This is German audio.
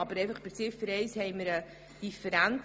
Aber bei Ziffer 1 haben wir eine Differenz.